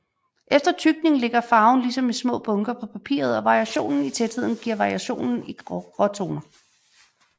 Efter tykning ligger farven ligesom i små bunker på papiret og variationen i tætheden giver variationen i gråtoner